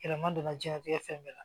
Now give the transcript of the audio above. Yɛlɛma donna jiyɛnnatigɛ fɛn bɛɛ la